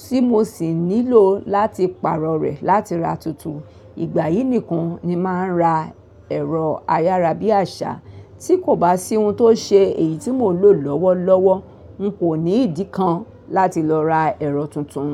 tí mò sì nílò láti pàrọ̀ rẹ̀ láti ra tuntun. Ìgbà yìí nìkan ni máa ń ra ẹ̀rọ ayárabíàṣá. Tí kò bá sí ohun tó ṣe èyí tí mò ń lò lọ́wọ́lọ́wọ́, n kò ní ìdí kan láti lọ ra ẹ̀rọ tuntun.